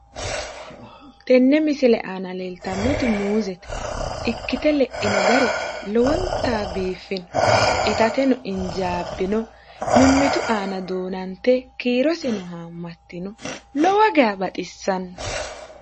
tenne misile aana leeltannoti muuzete ikkite leino gari lowontanni biiffino itateno injaabbino mimmitu aana duunante kiiroseno haammatino lowo geya baxissanno